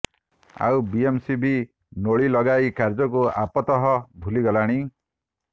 ଆଉ ବିଏମ୍ସି ବି ନୋଳି ଲଗାଇବା କାର୍ଯ୍ୟକୁ ଆପାତତଃ ଭୁଲିଗଲାଣି